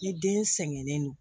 Ni den sɛgɛnnen don